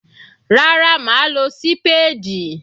Rárá mà á lo sípáádì.